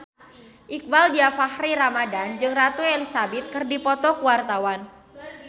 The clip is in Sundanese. Iqbaal Dhiafakhri Ramadhan jeung Ratu Elizabeth keur dipoto ku wartawan